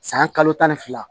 San kalo tan ni fila